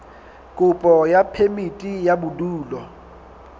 kopo ya phemiti ya bodulo